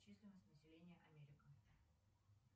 численность населения америка